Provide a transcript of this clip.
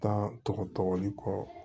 Taa tɔgɔ tɔgɔ